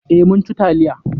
Eh, mun ci taliya.